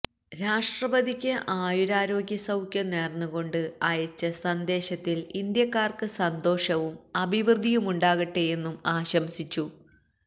രാഷ്ട്രപതിക്ക് ആയുരാരോഗ്യ സൌഖ്യം നേര്ന്നുകൊണ്ട് അയച്ച സന്ദേശത്തില് ഇന്ത്യക്കാര്ക്ക് സന്തോഷവും അഭിവൃദ്ധിയുമുണ്ടാകട്ടെയെന്നും ആശംസിച്ചു